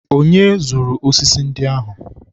onye zụrụ osisi ndị ahụ?